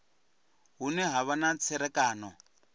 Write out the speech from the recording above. hune ha vha na tserakano